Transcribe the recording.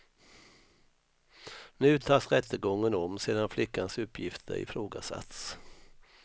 Nu tas rättegången om sedan flickans uppgifter ifrågasatts.